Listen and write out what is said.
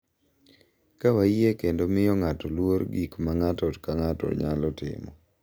Ka wayie kendo miyo ng’ato luor gik ma ng’ato ka ng’ato nyalo timo,